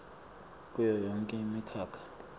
kuyo yonkhe imikhakha